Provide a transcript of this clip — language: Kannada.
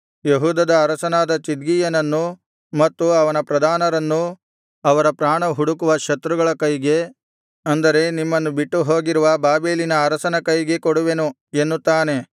ಯೆಹೂದದ ಅರಸನಾದ ಚಿದ್ಕೀಯನನ್ನೂ ಮತ್ತು ಅವನ ಪ್ರಧಾನರನ್ನೂ ಅವರ ಪ್ರಾಣ ಹುಡುಕುವ ಶತ್ರುಗಳ ಕೈಗೆ ಅಂದರೆ ನಿಮ್ಮನ್ನು ಬಿಟ್ಟುಹೋಗಿರುವ ಬಾಬೆಲಿನ ಅರಸನ ಕೈಗೆ ಕೊಡುವೆನು ಎನ್ನುತ್ತಾನೆ